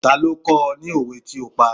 Ta ló kọ́ ọ ní òwe tí o pa?